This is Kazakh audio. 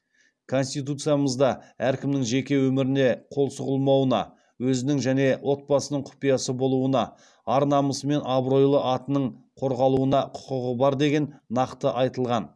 конституциямызда әркімнің жеке өміріне қол сұғылмауына өзінің және отбасының құпиясы болуына ар намысы мен абыройлы атының қорғалуына құқығы бар деген нақты айтылған